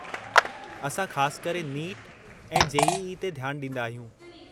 असां ख़ासि करे नीट ऐं जे.ई.ई. ते ध्यानु ॾींदा आहियूं।